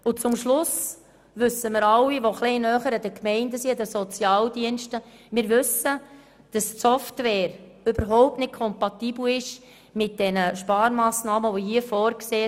Am Schluss wissen wir alle, die etwas näher an den Gemeinden und den Sozialdiensten sind, dass die Software überhaupt nicht mit den hier vorgesehenen Sparmassnahmen kompatibel ist.